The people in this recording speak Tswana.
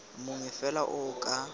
mongwe fela o o ka